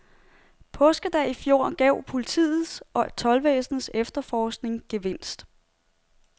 Påskedag i fjor gav politiets og toldvæsenets efterforskning gevinst.